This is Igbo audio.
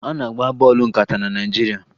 A na-agba bọọlụ nkata na Naịjirịa